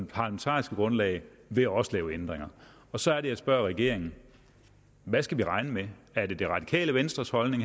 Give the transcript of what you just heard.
parlamentariske grundlag vil også lave ændringer så er det jeg spørger regeringen hvad skal vi regne med er det det radikale venstres holdning